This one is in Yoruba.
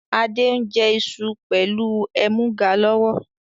Adé ń jẹ iṣu pẹlu ẹmuga lọ́wọ́